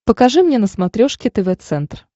покажи мне на смотрешке тв центр